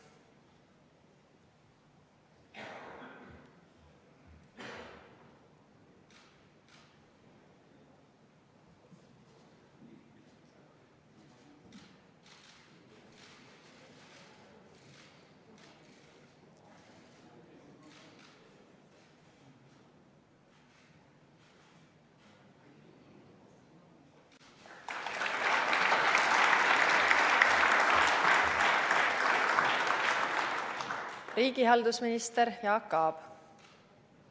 Riigihalduse minister Jaak Aab.